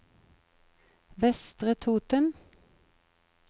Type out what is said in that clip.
Vestre Toten